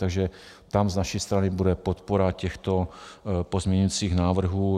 Takže tam z naší strany bude podpora těchto pozměňujících návrhů.